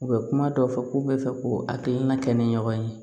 U bɛ kuma dɔ fɔ k'u bɛ fɛ k'u hakilina kɛ ni ɲɔgɔn ye